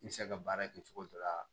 I bɛ se ka baara kɛ cogo dɔ la